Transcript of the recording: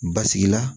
Basigi la